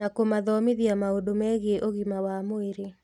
Na kũmathomithia maũndũ megiĩ ũgima wa mwĩrĩ